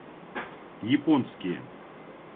японские